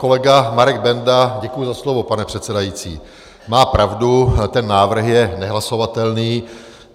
Kolega Marek Benda - děkuji za slovo, pane předsedající - má pravdu, ten návrh je nehlasovatelný.